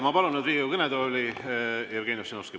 Ma palun nüüd Riigikogu kõnetooli Jevgeni Ossinovski.